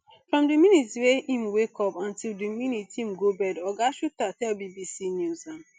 from di minute wey im wake up until di minute im go bed oga shuter tell bbc news um